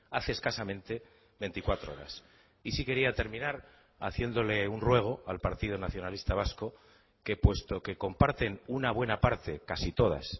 hace escasamente veinticuatro horas y sí quería terminar haciéndole un ruego al partido nacionalista vasco que puesto que comparten una buena parte casi todas